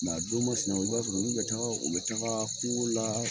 a don ma sinaw i b'a sɔrɔ min bɛ taga o bɛ tagaa kuŋo la